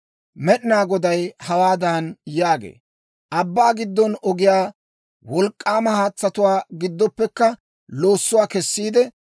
Med'inaa Goday hawaadan yaagee, Abbaa giddon ogiyaa, wolk'k'aama haatsatuwaa giddooppekka loossuwaa kessiide,